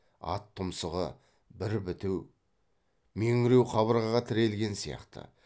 ат тұмсығы бір біту меңреу қабырғаға тірелген сияқты